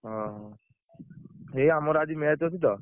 ହଁ ଏଇ ଆମର ଆଜି match ଅଛି ତ।